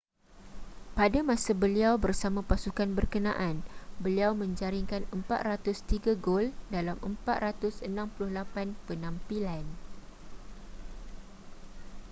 pada masa beliau bersama pasukan berkenaan beliau menjaringkan 403 gol dalam 468 penampilan